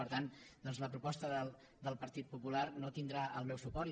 per tant doncs la proposta del partit popular no tindrà el meu suport